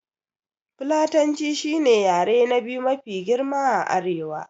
Fulatanci shi ne yare na biyu mafi girma a arewa